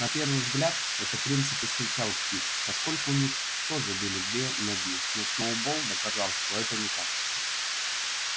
на первый взгляд этот принцип исключал птиц поскольку у них тоже были две ноги но сноуболл доказал что это не так